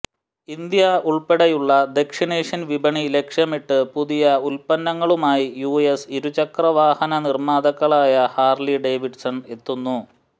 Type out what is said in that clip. India ഉള്പ്പെടെയുള്ള ദക്ഷിണേഷ്യൻ വിപണി ലക്ഷ്യമിട്ട് പുതിയ ഉത്പന്നങ്ങളുമായി യുഎസ് ഇരുചക്രവാഹന നിര്മാതാക്കളായ ഹാര്ലി ഡേവിഡ്സൺ എത്തുന്നു